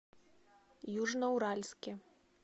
южноуральске